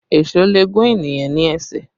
Èṣó lè gún ènìyàn ní ẹsẹ̀